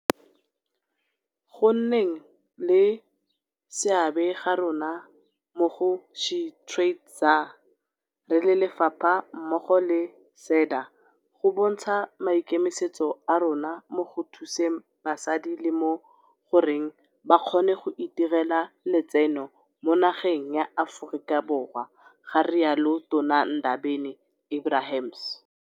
"Go nneng le seabe ga rona mo go SheTradesZA re le lefapha mmogo le SEDA go bontsha maikemisetso a rona mo go thuseng basadi le mo go reng ba kgone go itirela letseno mo nageng ya Aforika Borwa," ga rialo Tona Ndabeni-Abrahams.